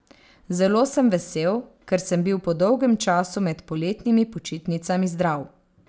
Zelo sem vesel, ker sem bil po dolgem času med poletnimi počitnicami zdrav.